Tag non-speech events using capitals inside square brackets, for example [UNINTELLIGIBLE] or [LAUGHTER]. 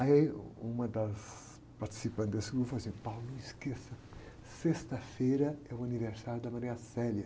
Aí uh, uma das participantes desse grupo falou assim, [UNINTELLIGIBLE] não esqueça, sexta-feira é o aniversário da. [UNINTELLIGIBLE]